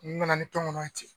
N nana ni tɔnkɔnɔn ye ten.